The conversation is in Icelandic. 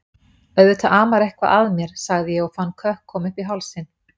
Auðvitað amar eitthvað að mér, sagði ég og fann kökk koma uppí hálsinn.